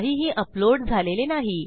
काहीही अपलोड झालेले नाही